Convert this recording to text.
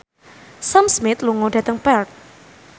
Sam Smith lunga dhateng Perth